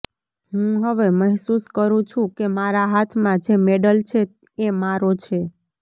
હું હવે મહેસૂસ કરું છું કે મારા હાથમાં જે મેડલ છે એ મારો છે